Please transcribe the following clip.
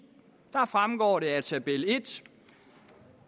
fremgår det af tabel en